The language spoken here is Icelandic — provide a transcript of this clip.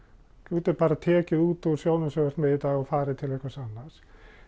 þú getur bara tekið út úr þeim sjóði sem þú ert með í dag og farið til einhvers annars